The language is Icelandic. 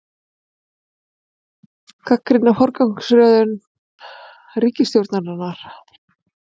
Gagnrýna forgangsröðum ríkisstjórnar